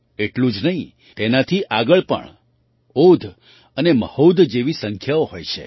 એટલું જ નહીં તેનાથી આગળ પણ ઓધ અને મહોધ જેવી સંખ્યાઓ હોય છે